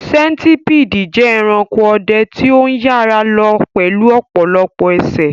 Sentipidi jẹ́ ẹranko ọdẹ tí ó ń yára lọ pẹ̀lú ọ̀pọ̀lọpọ̀ ẹsẹ̀.